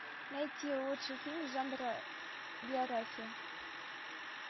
найти лучший фильм жанра биография